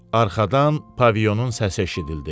Arxadan Paviyonun səsi eşidildi.